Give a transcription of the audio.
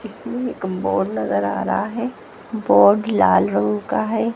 इसमें कम बोर्ड नजर आ रहा है बोर्ड लाल रंग का है।